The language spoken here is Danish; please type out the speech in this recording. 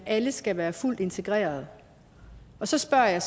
alle skal være fuldt integreret så spørger jeg